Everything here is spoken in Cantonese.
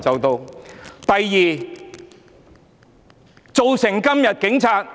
第二，造成今天警察......